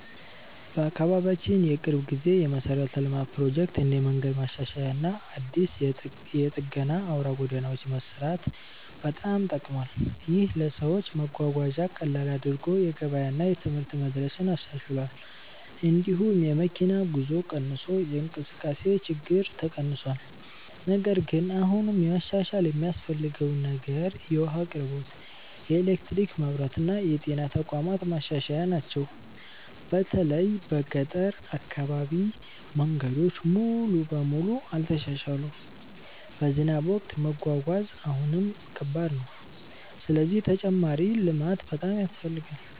በአካባቢያችን የቅርብ ጊዜ የመሠረተ ልማት ፕሮጀክት እንደ መንገድ ማሻሻያ እና አዲስ የጠገና አውራ ጎዳናዎች መስራት በጣም ጠቅሟል። ይህ ለሰዎች መጓጓዣን ቀላል አድርጎ የገበያ እና የትምህርት መድረስን አሻሽሏል። እንዲሁም የመኪና ጉዞ ጊዜ ቀንሶ የእንቅስቃሴ ችግኝ ተቀንሷል። ነገር ግን አሁንም መሻሻል የሚያስፈልገው ነገር የውሃ አቅርቦት፣ የኤሌክትሪክ መብራት እና የጤና ተቋማት ማሻሻያ ናቸው። በተለይ በገጠር አካባቢ መንገዶች ሙሉ በሙሉ አልተሻሻሉም፣ በዝናብ ወቅት መጓጓዣ አሁንም ከባድ ነው። ስለዚህ ተጨማሪ ልማት በጣም ያስፈልጋል።